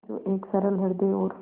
जो एक सरल हृदय और